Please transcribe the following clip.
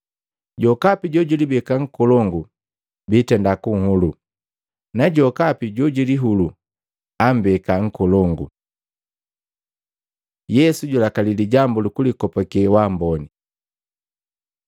Jokapi jojulibeka nkolongu biitenda kunhulu, na jokapi jojilihulu ammbeka nkolongu. Yesu julakali lijambu lukulikopake wa amboni Maluko 12:40; Luka 11:39-42, 44, 52; 20:47